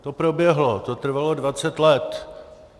To proběhlo, to trvalo dvacet let.